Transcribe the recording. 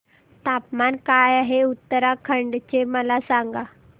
तापमान काय आहे उत्तराखंड चे मला सांगा